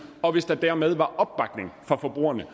og hvis der dermed var opbakning fra forbrugernes